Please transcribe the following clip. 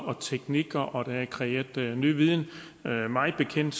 og teknikker og der er kreeret ny viden mig bekendt